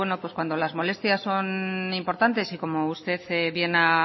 cuando las molestias son importantes y como usted bien ha